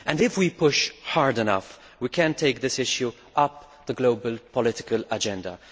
If we push hard enough we can push this issue up the global political agenda.